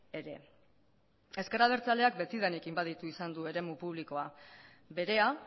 ere ezker abertzaleak betidanik inbaditu izan du eremu publikoa berea